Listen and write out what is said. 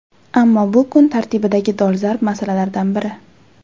Ammo bu kun tartibidagi dolzarb masalalardan biri.